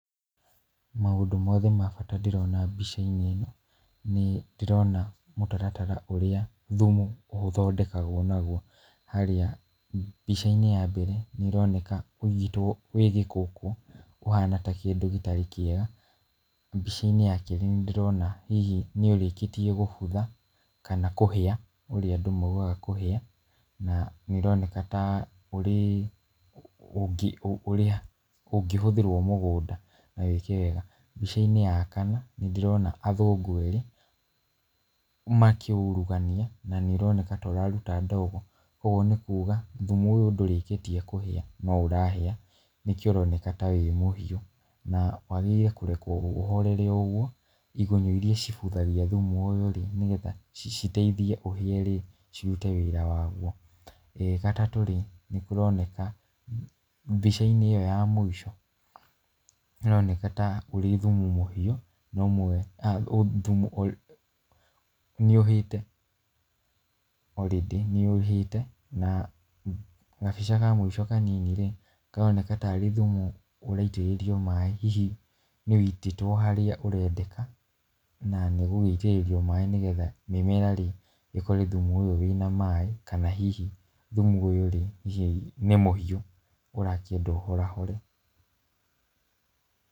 Maũndũ mothe ma bata ndĩrona mbica-inĩ ino, nĩ ndĩrona mũtaratara ũrĩa thumu ũthondekagwo naguo, harĩa mbica-inĩ ya mbere nĩ ũroneka wĩigĩtwo wĩ gĩkũkũ ũhana ta kĩndũ gĩtarĩ kĩega, mbica-inĩ ya kerĩ nĩ ndĩrona hihi nĩ ũrĩkĩtie gũbutha, kana kũhĩa ũrĩa andũ maugaga kũhĩa, na ũroneka ta ũrĩ ũngĩhũthĩrwo mũgũnda na wĩke wega, mbica-inĩ ya kana nĩ ndĩrona athũngũ erĩ makĩũurugania na nĩ ũroneka ta ũraruta ndogo, ũguo nĩ kuuga thumu ũyũ ndũrĩkĩtie kũhĩa, no ũrahĩa nĩkĩo ũroneka ta wĩ mũhiũ, na wagĩrĩire kũrekwo ũhorere o ũguo, igunyũ iria cibuthagia thumu ũyũ rĩ, nĩgetha citeithie ũhĩe rĩ cirute wĩra waguo, gatatũ rĩ nĩ kũroneka mbica-inĩ ĩyo mũico, nĩ ĩroneka ta ũrĩ thumu mũhiũ nĩ ũhĩte already nĩ ũhĩte , na gabica kamũico kanini rĩ, karoneka tarĩ thumu ũraitĩrĩrio maaĩ hihi nĩ wĩitĩtwo harĩa ũrendeka , na nĩ gũgĩitĩrĩrio maaĩ nĩgetha mĩmera rĩ ĩkore thumu ũyũ wĩna maaĩ , kana hihi thumu ũyũ nĩ mũhiũ ũrakĩendwo ũhorahore.